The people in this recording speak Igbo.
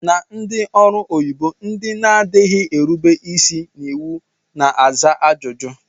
Na ndị ọrụ onyibo, ndị na-adịghị erube isi n'iwu na-aza ajụjụ